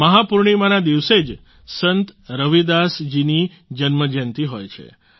મહા પૂર્ણિમાના દિવસે જ સંત રવિદાસ જીની જન્મજયંતિ હોય છે